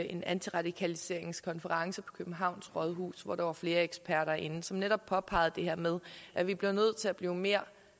en antiradikaliseringskonference på københavns rådhus hvor der var flere eksperter inde som netop påpegede det her med at vi bliver nødt til at blive mere